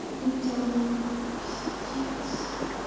это пиздец